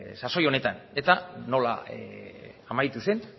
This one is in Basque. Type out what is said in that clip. sasoi honetan eta nola amaitu zen